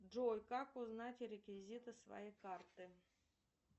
джой как узнать реквизиты своей карты